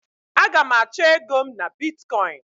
Aga m achọ ego m na Bitkọin.